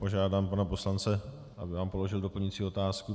Požádám pana poslance, aby vám položil doplňující otázku.